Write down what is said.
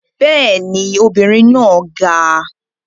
Bẹ́ẹ̀ ni, obìnrin náà ga